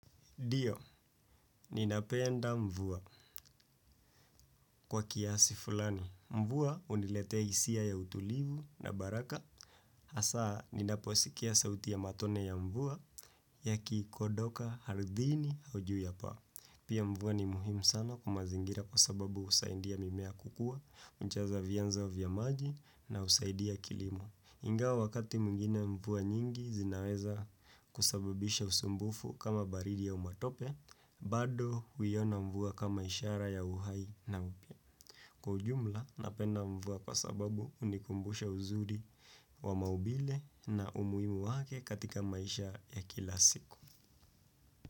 Ndio, ninapenda mvua kwa kiasi fulani. Mvua huniletea hisia ya utulivu na baraka. Hasa ninaposikia sauti ya matone ya mvua yakikodoka ardhini au juu ya paa. Pia mvua ni muhimu sana kwa mazingira kwa sababu husaidia mimea kukua, hujaza vianzo vya maji na husaidia kilimo. Ingawa wakati mwingine mvua nyingi zinaweza kusababisha usumbufu kama baridi au matope, bado huiona mvua kama ishara ya uhai na upya. Kwa ujumla, napenda mvua kwa sababu hunikumbusha uzuri wa maumbile na umuhimu wake katika maisha ya kila siku.